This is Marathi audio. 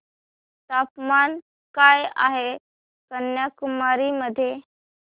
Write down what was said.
तापमान काय आहे कन्याकुमारी मध्ये